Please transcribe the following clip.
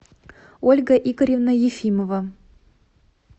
ольга игоревна ефимова